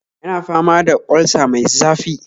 Yana fama da olsa mai zafi